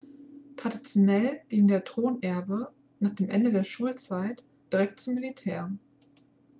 traditionell ging der thronerbe nach dem ende der schulzeit direkt zum militär